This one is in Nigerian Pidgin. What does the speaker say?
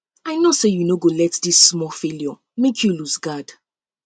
i know sey you no go let dis small failure make you loose guard